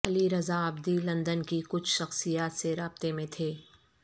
علی Raza Abidi London کی کچھ شخصیات سے رابطے میں تھے